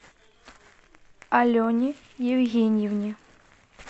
алене евгеньевне